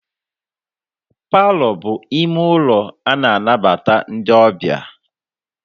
Palọ bụ ime ụlọ a na-anabata ndị ọbịa.